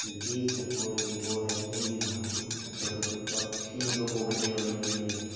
людей которые его родили нахуй и которые тут вообще никакого дела не имеют